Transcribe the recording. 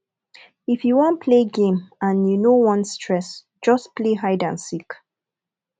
if you wan play game and you no want stress just play hide and seek